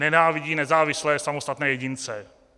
Nenávidí nezávislé, samostatné jedince.